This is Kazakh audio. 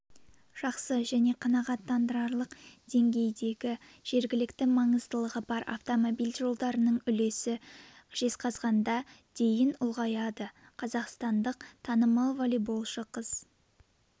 жақсы және қанағаттанарлық деңгейдігі жергілікті маңыздылығы бар автомобиль жолдарының үлесі жезқазғанда дейін ұлғайтылады қазақстандық танымалволейболшы қыз